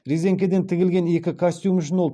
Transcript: резеңкеден тігілген екі костюм үшін ол